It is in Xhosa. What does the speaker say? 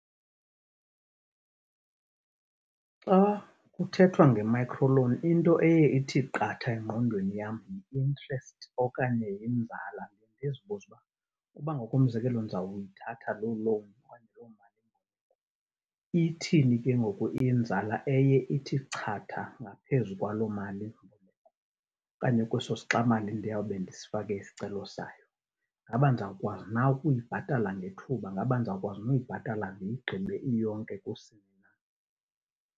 Xa kuthethwa nge-microloan into eye ithi qatha engqondweni yam yi-interest okanye yinzala, ndizibuze uba ukuba ngokomzekelo ndizawuyithatha loo loan oknaye loo mali, ithini ke ngoku inzala eye ithi chatha ngaphezu kwaloo mali okanye kweso sixamali ndiyawube ndisifake isicelo sayo. Ingaba ndizawukwazi na ukuyibhatala ngethuba? Ngaba ndizawukwazi na uyibhatali ndiyigqibe iyonke kusini na?